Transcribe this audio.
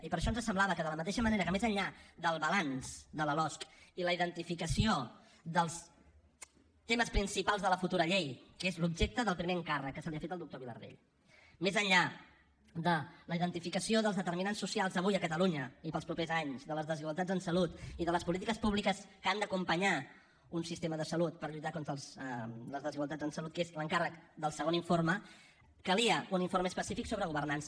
i per això ens semblava que de la mateixa manera que més enllà del balanç de la losc i la identificació dels temes principals de la futura llei que és l’objecte del primer encàrrec que s’ha fet al doctor vilardell més enllà de la identificació dels determinants socials avui a catalunya i per als propers anys de les desigualtats en salut i de les polítiques públiques que han d’acompanyar un sistema de salut per lluitar contra les desigualtats en salut que és l’encàrrec del segon informe calia un informe específic sobre governança